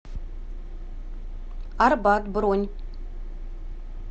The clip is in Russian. арбат бронь